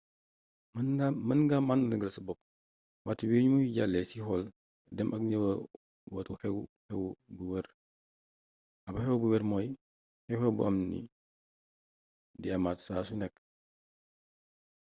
mën nga màdargaal sa bopp waxtu wi ni muy jàllee ci xool dem ak ñëwaatu xew xew bu wër ab xew xew bu wër mooy xew xew buy am di amaat saa su nekk